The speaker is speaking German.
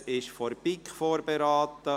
Das Geschäft wurde von der BiK vorberaten.